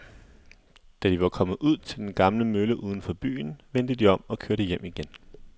Da de var kommet ud til den gamle mølle uden for byen, vendte de om og kørte hjem igen.